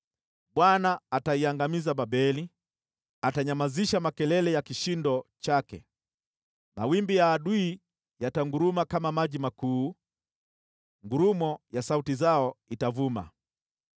Bwana ataiangamiza Babeli, atanyamazisha makelele ya kishindo chake. Mawimbi ya adui yatanguruma kama maji makuu, ngurumo ya sauti zao itavuma.